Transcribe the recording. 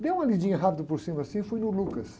Dei uma lidinha rápido por cima assim e fui no Lucas.